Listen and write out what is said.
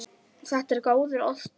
Þetta er góður ostur.